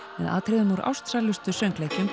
með atriðum úr ástsælustu söngleikjum